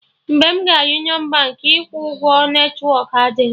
Mgbe m gara Union Baankị ịkwụ ụgwọ, netwọk adịghị